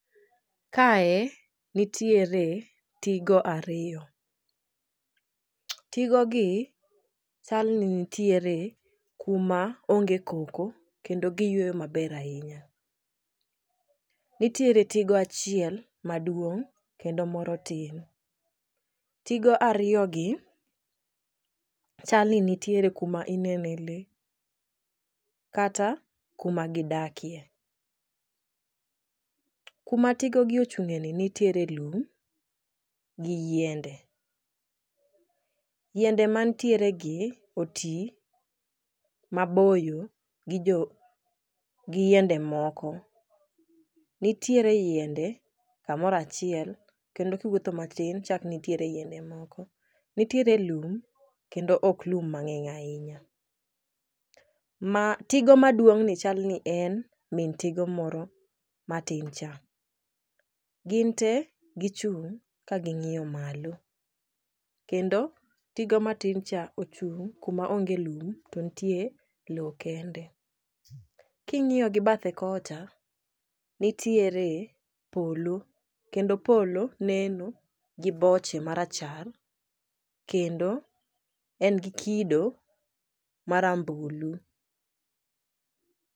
Kae nitiere tigo ariyo . Tigo gi chal ni nitiere kuma onge koko kendo giyweyo maber ahinya. Nitiere tigo achiel maduong' kendo moro tin. Tigo ariyo gi chal ni nitiere kuma inene lee kata kuma gidakie. Kuma tigo gi ochung'ie ni nitiere lum, gi yiende .Yiende mantiere gi otii maboyo gijo gi yiende moko . Nitiere yiende kamorachiel kendo kiwuotho matin chak nitiere yiende moko nitiere kum klendo ok lum mang'eny ahinya . Ma tigo maduong'ni chal ni en mi tigo moro matin cha gin tee gichung' ka ging'iyo malo kendo tigo matin cha ochung' kuma onge lum to ntie loo kende. King'iyo gi bathe kocha nitiere polo kendo polo neno gi boche marachar kendo en gi kido marambulu.